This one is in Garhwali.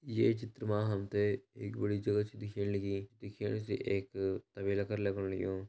ये चित्र म हमते एक बड़ी जगह छै दिख्याण लगीं दिख्येणा से एक तबेला कर लगण लगयूं।